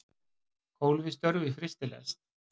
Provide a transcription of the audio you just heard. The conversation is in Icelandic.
Kól við störf í frystilest